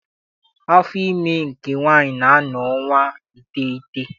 Afọ ime nke nwaanyị na-anọ ọnwa iteghete.